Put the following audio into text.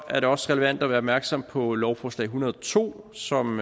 er det også relevant at være opmærksom på lovforslag hundrede og to som